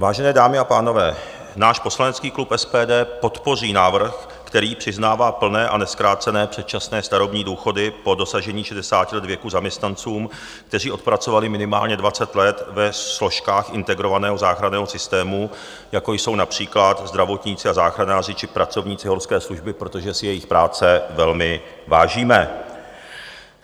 Vážené dámy a pánové, náš poslanecký klub SPD podpoří návrh, který přiznává plné a nezkrácené předčasné starobní důchody po dosažení 60 let věku zaměstnancům, kteří odpracovali minimálně 20 let ve složkách integrovaného záchranného systému, jako jsou například zdravotníci a záchranáři či pracovníci horské služby, protože si jejich práce velmi vážíme.